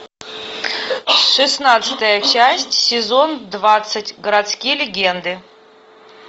шестнадцатая часть сезон двадцать городские легенды